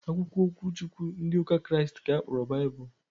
Akwụkwọ okwu Chukwu ndị ụka Kraịst ka a kpọrọ Baịbụl